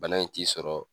Bana in t'i sɔrɔ